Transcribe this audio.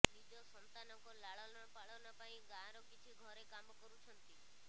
ନିଜ ସନ୍ତାନଙ୍କ ଲାଳନପାଳନ ପାଇଁ ଗାଁର କିଛି ଘରେ କାମ କରୁଛନ୍ତି